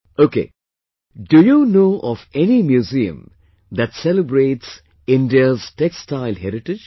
Ok, do you know of any museum that celebrates India's textile heritage